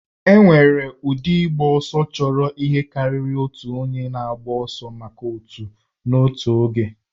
E nwere ụdị ịgba ọsọ chọrọ ihe karịrị otu onye na-agba ọsọ maka otù n'otu oge